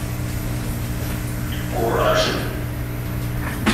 кураж